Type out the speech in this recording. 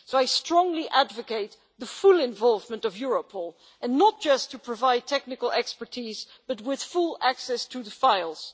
I strongly advocate the full involvement of Europol and not just to provide technical expertise, but with full access to the files.